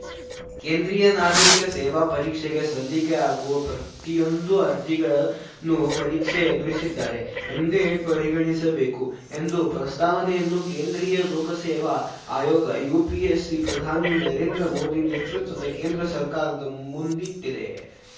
ಕೇಂದ್ರೀಯ ನಾಗರಿಕ ಸೇವಾ ಪರೀಕ್ಷೆಗೆ ಸಲ್ಲಿಕೆಯಾಗುವ ಪ್ರತಿಯೊಂದು ಅರ್ಜಿಗಳನ್ನು ಪರೀಕ್ಷೆ ಎದುರಿಸಿದ್ದಾರೆ ಎಂದೇ ಪರಿಗಣಿಸಬೇಕು ಎಂದು ಪ್ರಸ್ತಾವನೆಯನ್ನು ಕೇಂದ್ರೀಯ ಲೋಕಸೇವಾ ಆಯೋಗಯುಪಿಎಸ್‌ಸಿ ಪ್ರಧಾನಿ ನರೇಂದ್ರ ಮೋದಿ ನೇತೃತ್ವದ ಕೇಂದ್ರ ಸರ್ಕಾರದ ಮುಂದಿಟ್ಟಿದೆ